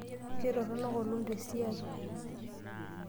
Ketoronok olom tesiai.